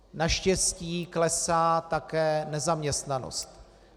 Naštěstí klesá také nezaměstnanost.